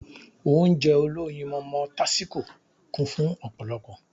Ounjẹ olóyinmọmọ tásíko kún fun ọ̀pọ̀lọpọ̀